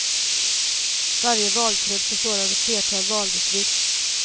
Varje valkrets består av ett flertal valdistrikt.